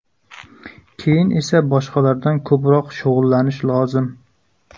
Keyin esa boshqalardan ko‘proq shug‘ullanish lozim.